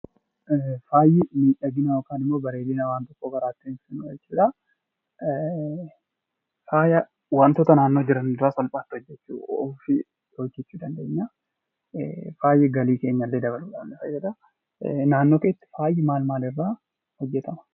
Faayi bareedina waan tokkoo dabaluuf yoo ta'u, faaya waantota naannoo jiran irraa salphaatti hojjechuu ni dandeenya. Faayi galii keenya illee dabaluu ni danda'a. Faayi maal maal irraa hojjetama.